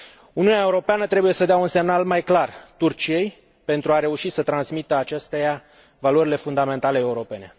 Uniunea Europeană trebuie să dea un semnal mai clar Turciei pentru a reuși să transmită acesteia valorile fundamentale europene.